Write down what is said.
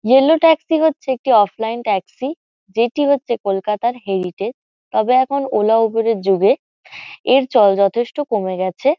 Yellow taxi হচ্ছে একটি offline taxi. যেটি হচ্ছে কলকাতার হেরিটেজ তবে এখন ওলা উবের এর যুগে এর চল যথেষ্ট কমে গেছে।